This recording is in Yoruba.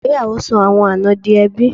Ìgbéyàwó sọ àwọn àna di ẹbí.